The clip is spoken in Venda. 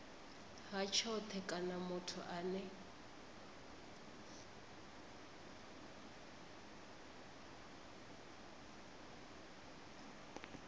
ha tshothe kana muthu ane